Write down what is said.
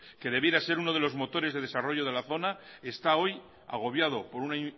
que debiera ser uno de los motores de desarrollo de la zona está hoy agobiado por una